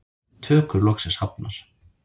Tökur loksins hafnar